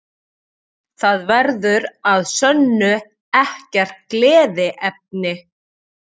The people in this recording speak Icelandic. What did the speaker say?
Það verður að sönnu ekkert gleðiefni